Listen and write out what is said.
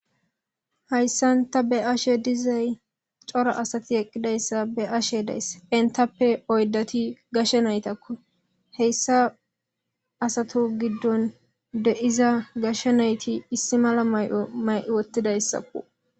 hayssan ta be'ashe dizay cora asati eqqidayssa be'ashe dayss entappe oydati gashe naytakko heyssa asato giddon deiza gashsha nayti issi mala may'o may'i wottidayssakku